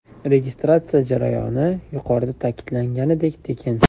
Registratsiya jarayoni, yuqorida ta’kidlanganidek, tekin.